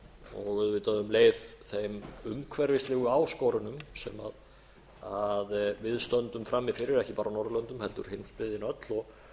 og auðvitað um leið þeim umhverfislegu áskorunum sem við stöndum frammi fyrir ekki bara á norðurlöndum heldur heimsbyggðin öll og